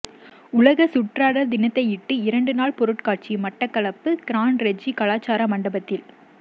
உலக சுற்றாடல் தினத்தையிட்டு இரண்டுநாள் பொருட்காட்சி மட்டக்களப்பு கிரான் றெஜி கலாசார மண்டபத்தில்